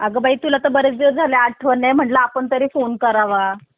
आग बाई तुलाच आठवण नाही म्हणल तुलाच फोन करावा